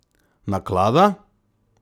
Naklada?